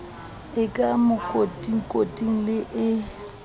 e ka makotikoting le e